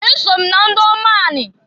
Eso m na ndiomu ani.